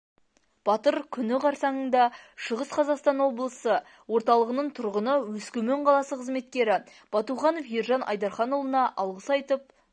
батыр күні қарсаңында шығыс қазақстан облысы орталығының тұрғыны өскемен қаласы қызметкері батуханов ержан айдарханұлына алғыс айтып